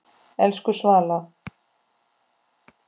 Elsku Svala.